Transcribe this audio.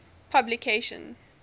publication